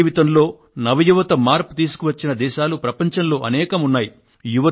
ప్రజాజీవితంలో నవ యువత మార్పును తీసుకువచ్చిన దేశాలు ప్రపంచంలో అనేకం ఉన్నాయి